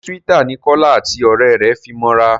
ṣe Twitter ní Kola àti òré rẹ fí mọ ra?